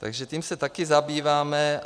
Takže tím se taky zabýváme.